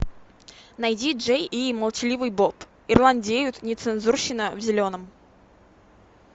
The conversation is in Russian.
найди джей и молчаливый боб ирландеют нецензурщина в зеленом